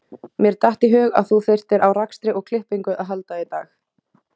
Mér datt í hug að þú þyrftir á rakstri og klippingu að halda í dag